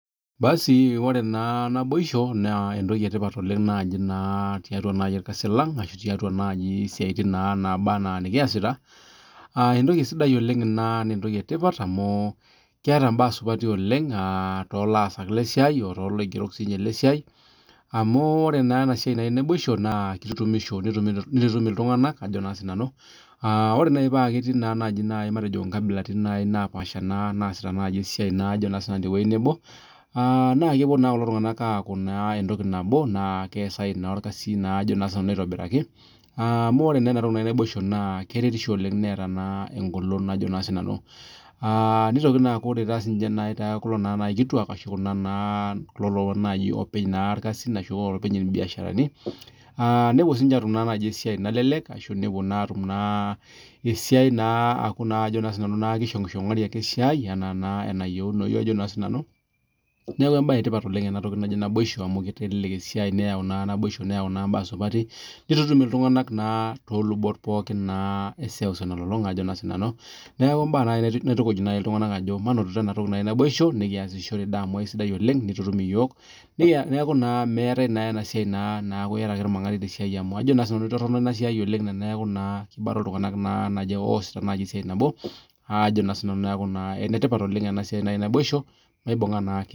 Ore naa naboisho naa entoki e tipat oleng tiatua irkasin alang aashu tiatua isiatin ang naaba anaa nikiasita entoki e tipat ina oleng amu keetae mbaa supati oleng too laasak lesiai o tooloigero sii amu kitutumisho nitutum iltunganak. Ore paa ketii naa naaji inkabilaritin napaasha naasita naaji esiai tewueji nebo naa kepuo naa kilo tunganak aaku entoki nabo naa keesayu naa inakata esiai aitobiraki amu ore naa entoki naji naboisho naa keretisho oleng neeta engolon. Nitoki naa aaku ore toolkituak aashu toolopeny irkasin nepuo naa aatum esiai nalelek ashu nepuo naa atum esiai nashingishongari anaa enayieuni. Neeku entoki e tipat oleng ena toki naji naboisho amu keitelelek esiai oleng, nitutum iltunganak too lubot pookin eseuseu nalulunga. Neaku kaitukuj naaji iltunganak ajo manotito ena toki naji naboisho nikiasishore amu aisidai oleng nitutum doi yook neaku meetae naa ena siai naa iata ake irmangati te siai amu itorrono oleng teneaku iata ake irmangati te siai neaku maibunga naake.